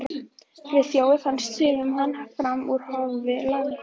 Friðþjófi og fannst sumum hann fram úr hófi langorður.